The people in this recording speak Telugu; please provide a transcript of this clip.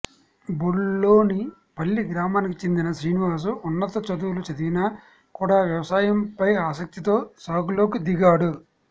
బొల్లోని పల్లి గ్రామానికి చెందిన శ్రీనివాస్ ఉన్నత చదువులు చదివినా కూడా వ్యవసాయం పై ఆసక్తితో సాగులోకి దిగాడు